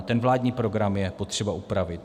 A ten vládní program je potřeba upravit.